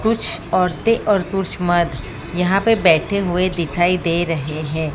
कुछ औरतें और कुछ मर्द यहां पे बैठे हुए दिखाई दे रहे हैं।